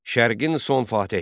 Şərqin son fatehi.